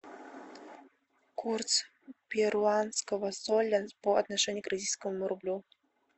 курс перуанского соля по отношению к российскому рублю